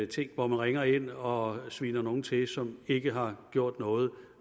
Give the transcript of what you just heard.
ting hvor man ringer ind og sviner nogen til som ikke har gjort noget